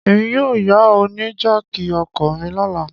Emi yóò ya ọ ni jáákí ọkọ mi lọla